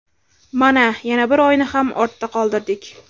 Mana, yana bir oyni ham ortda qoldirdik.